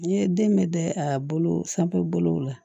N ye den bɛ dɛ a bolo sanfɛlaw la